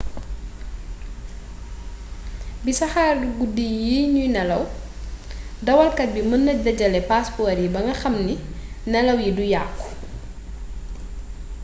ci saxaaru guddi yi ñuy nelaw dawalkat bi mën na dajale paaspoor yi ba nga xam ne nelaw yi du yàkku